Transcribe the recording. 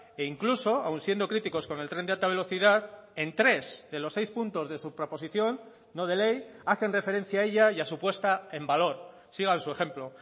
e incluso aún siendo críticos con el tren de alta velocidad en tres de los seis puntos de su proposición no de ley hacen referencia a ella y a su puesta en valor sigan su ejemplo